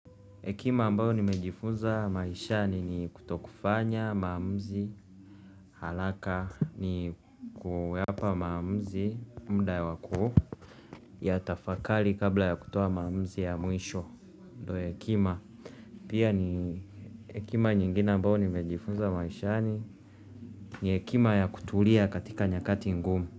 Hekima ambayo nimejifunza maishani ni kutokufanya, maamuzi, haraka, ni kuwapa maamuzi, muda wa kuu, yatafakari kabla ya kutoa maamuzi ya mwisho, ndo hekima. Pia ni hekima nyingine ambayo nimejifunza maishani ni hekima ya kutulia katika nyakati ngumu.